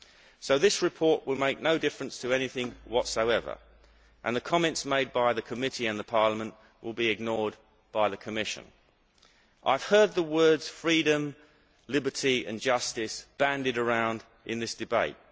So this report will make no difference whatsoever to anything and the comments made by the committee and the Parliament will be ignored by the Commission. I have heard the words freedom, liberty and justice' bandied around in this debate.